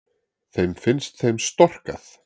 Þeim finnst þeim storkað